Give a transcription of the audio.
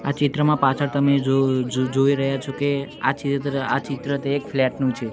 આ ચિત્રમાં પાછડ તમે જો-જો-જોઇ રહ્યા છો કે આ ચિત્ર આ ચિત્ર તે એક ફ્લેટ નું છે.